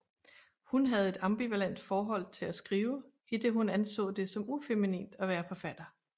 Hun havde et ambivalent forhold til at skrive idet hun anså det som ufeminint at være forfatter